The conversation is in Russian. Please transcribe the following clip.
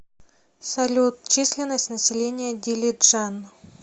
салют численность населения дилиджан